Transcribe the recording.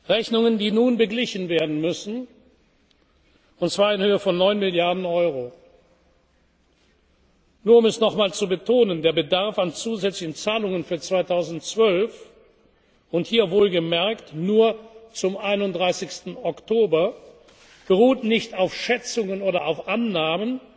ERASMUS Programm vor, Rechnungen, die nun beglichen werden müssen, und zwar in Höhe von 9 Milliarden Euro. Nur um es noch einmal zu betonen, der Bedarf an zusätzlichen Zahlungen für 2012, und hier wohlgemerkt nur zum 31. Oktober, beruht nicht auf Schätzungen